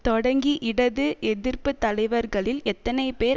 தொடங்கி இடது எதிர்ப்பு தலைவர்களில் எத்தனை பேர்